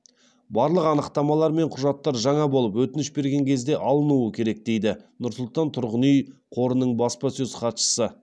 барлық анықтамалар мен құжаттар жаңа болып өтініш берген кезде алынуы керек дейді нұр сұлтан тұрғын үй қорының баспасөз хатшысы